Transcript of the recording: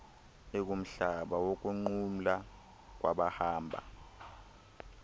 ekumhlaba wokunqumla kwabahamba